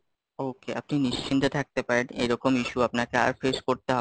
okay, নিশ্চিন্তে থাকতে পারেন, এরকম issue আপনাকে আর face করতে হবে,